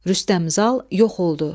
Rüstəm Zal yox oldu.